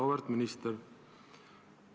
Auväärt minister!